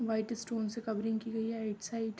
White stone से covering की गई है राइट साइड ।